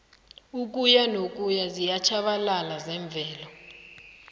ukuyanokuya ziyatjhabalala zemvelo